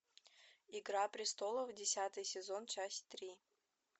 игра престолов десятый сезон часть три